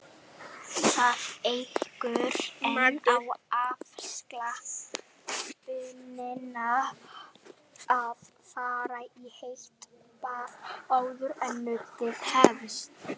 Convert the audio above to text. Það eykur enn á afslöppunina að fara í heitt bað áður en nuddið hefst.